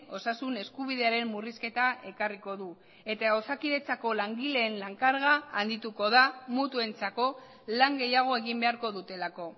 osasun eskubidearen murrizketa ekarriko du eta osakidetzako langileen lan karga handituko da mutuentzako lan gehiago egin beharko dutelako